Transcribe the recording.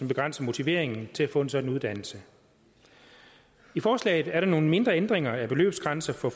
begrænser motiveringen til at få en sådan uddannelse i forslaget er der nogle mindre ændringer af beløbsgrænsen for